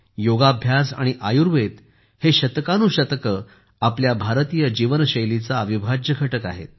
योगाभ्यास आणि आयुर्वेद हे शतकानुशतके आपल्या भारतीय जीवनशैलीचा अविभाज्य घटक आहेत